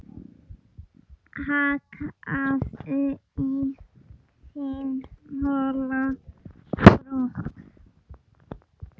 Hakkaðu í þinn hola skrokk